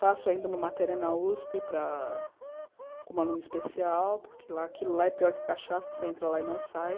Faço ainda uma matéria na usp para com uma aluna especial, porque aquilo lá é pior que cachaça, você entra lá e não sai.